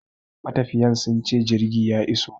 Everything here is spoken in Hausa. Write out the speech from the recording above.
Matafiyan sunce jirgi ya iso